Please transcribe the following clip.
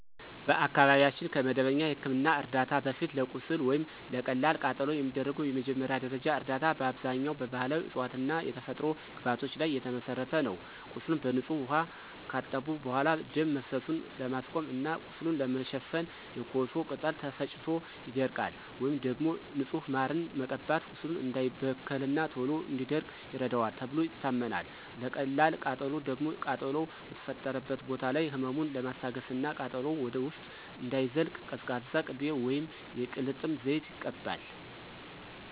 በአካባቢያችን ከመደበኛ የሕክምና ዕርዳታ በፊት፣ ለቁስል ወይም ለቀላል ቃጠሎ የሚደረገው መጀመሪያ ደረጃ እርዳታ በአብዛኛው በባሕላዊ ዕፅዋትና የተፈጥሮ ግብዓቶች ላይ የተመሠረተ ነው። ቁስሉን በንጹህ ውኃ ካጠቡ በኋላ፣ ደም መፍሰሱን ለማስቆም እና ቁስሉን ለመሸፈን የኮሶ ቅጠል ተፈጭቶ ይደረጋል። ወይም ደግሞ ንጹህ ማርን መቀባት ቁስሉ እንዳይበከልና ቶሎ እንዲደርቅ ይረዳዋል ተብሎ ይታመናል። ለቀላል ቃጠሎ ደግሞ ቃጠሎው በተፈጠረበት ቦታ ላይ ህመሙን ለማስታገስና ቃጠሎው ወደ ውስጥ እንዳይዘልቅ ቀዝቃዛ ቅቤ ወይም የቅልጥም ዘይት ይቀባል።